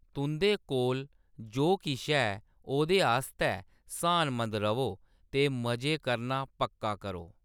तुंʼदे कोल जो किश है ओह्‌‌‌‌दे आस्तै स्हानमंद र'वो ते मजे करना पक्का करो।